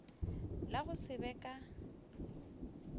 la go se be ka